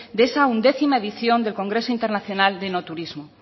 de esa once edición del congreso internacional de enoturismo